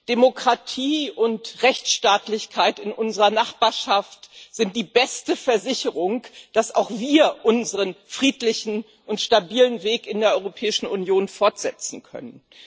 Demokratie und Rechtsstaatlichkeit in unserer Nachbarschaft sind die beste Versicherung, dass auch wir unseren friedlichen und stabilen Weg in der Europäischen Union fortsetzen können.